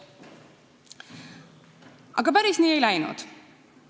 Aga päris nii ei läinud.